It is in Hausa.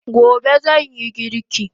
Gobe zanyi girki